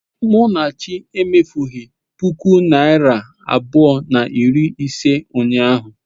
Munachi emefughị ​​puku naịra abụọ na iri ise ụnyahụ.